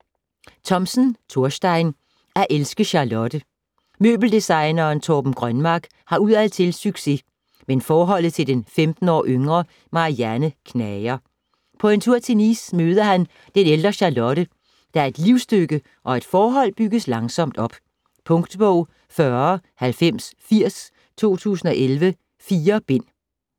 Thomsen, Thorstein: At elske Charlotte Møbeldesigneren Torben Grønmark har udadtil succes, men forholdet til den 15 år yngre Marianne knager. På en tur til Nice møder han den ældre Charlotte, der er et livstykke, og et forhold bygges langsomt op. Punktbog 409080 2011. 4 bind.